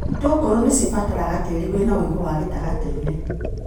Itũngũrũ nĩcibataraga tĩri wĩna wũigũ wa gĩtagatĩinĩ.